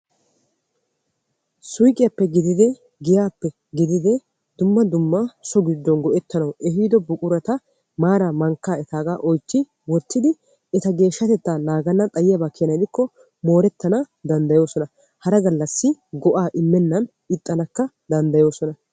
Suyqqiyappe gididde giyappe ehiiddo so gido buquratta naagennan ixxikko moorettana danddayosonna ubbakka meqqannakka danddayosonna.